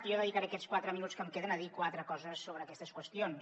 i jo dedicaré aquests quatre minuts que em queden a dir quatre coses sobre aquestes qüestions